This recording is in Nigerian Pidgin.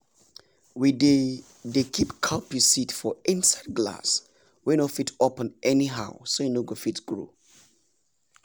we dey dey keep cowpea seed for inside glass wey no fit open anyhow so e go fit grow